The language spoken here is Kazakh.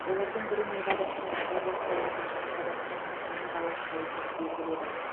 олардың бірі невада штатында болса екіншісі қазақстанның семей қаласында екені белгілі еді